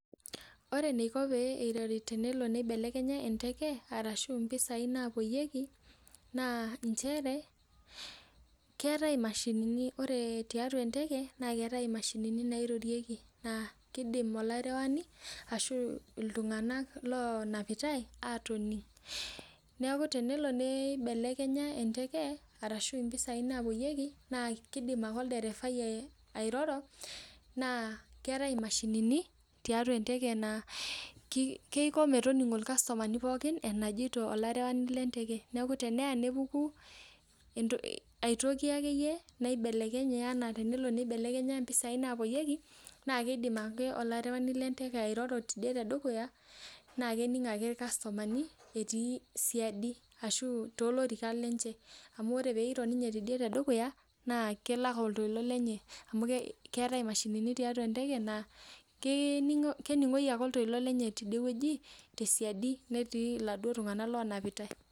Ore eniko pee irori tenelo nibelekenya enteke, arashu impisai napoyieki, naa njere, keetae imashinini ore tiatua enteke na keetae imashinini nairorieki naa kidim olarewani ashu iltung'anak lonapitai atoning'. Neeku tenelo neibelekenya enteke arashu impisai napoyieki, naa kidim ake olderefai airoro, naa keetae imashinini tiatua enteke naa kiko metoning'o irkastomani pookin enajito olarewani lenteke. Neeku teneya nepuku aitoki akeyie, naibelekenye enaa tenelo nibelekenya mpisai napoyieki, naa kidim ake olarewani lenteke airoro tidie tedukuya, naa kening' ake irkastomani etii siadi ashu tolorikan lenche. Amu ore peiro ninye tidie tedukuya, naa kelak oltoilo lenye amu keetae imashinini tiatua enteke naa, kening'oyu ake oltoilo lenye tidiewoji, tesiadi netii laduo tung'anak lonapitai.